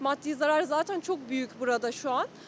Maddi zarar zatən çok büyük burada şu an.